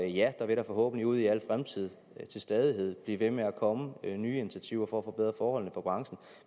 ja der vil da forhåbentlig ud i al fremtid til stadighed blive ved med at komme nye initiativer for at forbedre forholdene for branchen